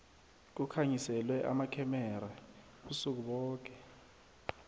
kukhanyiselwe amakhemera ubusuku boke